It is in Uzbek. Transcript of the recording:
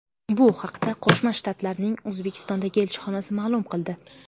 Bu haqda Qo‘shma Shtatlarning O‘zbekistondagi elchixonasi ma’lum qildi .